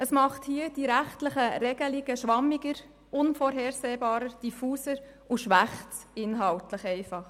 Dieses macht die rechtlichen Regelungen schwammiger, unvorhersehbarer, diffuser und bringt eine inhaltliche Schwächung mit sich.